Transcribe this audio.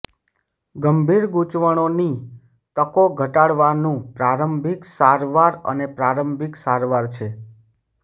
ગંભીર ગૂંચવણોની તકો ઘટાડવાનું પ્રારંભિક સારવાર અને પ્રારંભિક સારવાર છે